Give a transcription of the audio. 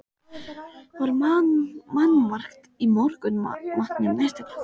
Það var mannmargt í morgunmatnum næsta klukkutímann.